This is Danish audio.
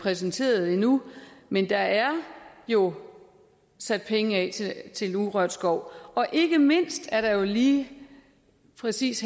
præsenteret endnu men der er jo sat penge af til urørt skov og ikke mindst er der lige præcis